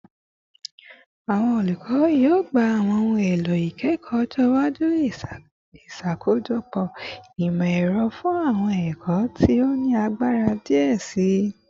Awọn olukọ yoo gba awọn ohun elo ikẹkọ ọjọ iwaju, iṣakojọpọ imọ-ẹrọ fun awọn ẹkọ ti o ni agbara diẹ sii